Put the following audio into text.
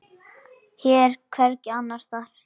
Hér og hvergi annars staðar.